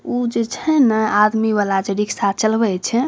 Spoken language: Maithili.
उ जे छै ना आदमी वाला जे रिक्शा चलबे छै।